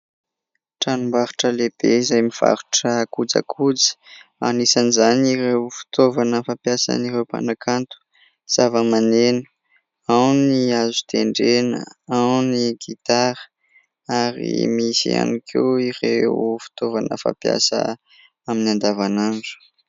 Tranom-barotra lehibe izay mivarotra kojakoja. Anisan'izany ireo fitaovana fampiasan'ireo mpanakanto : zava-maneno. Ao ny azo tendrena, ao ny gitara ary misy ihany koa ireo fitaovana fampiasa amin'ny andavanandro.